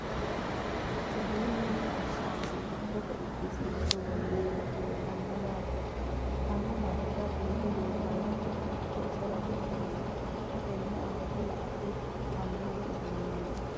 Uduunnu mine ashangulittete udisiinse worroonnihu leelanno yaatte. Hidhaanno manira biiffe leelanno gede hakko isera woroonni. Xa tenne aanna la'nanitti amuwu uduuneetti.